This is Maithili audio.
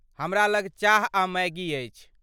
हमरा लग चाह आ मैगी अछि।